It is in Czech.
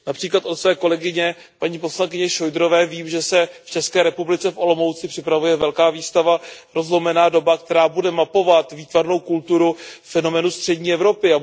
Například od své kolegyně, paní poslankyně Šojdrové, vím, že se v České republice v Olomouci připravuje velká výstava Rozlomená doba, která bude mapovat výtvarnou kulturu fenoménu střední Evropy.